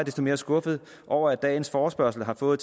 mere skuffet over at dagens forespørgsel har fået